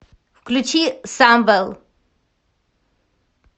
включи самвел